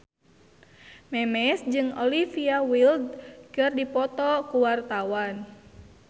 Memes jeung Olivia Wilde keur dipoto ku wartawan